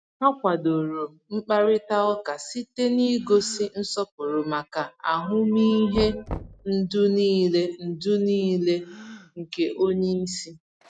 Ha kwadoro mkparịta ụka site n’ịgosi nsọpụrụ maka ahụmịhe ndụ niile ndụ niile nke onye isi.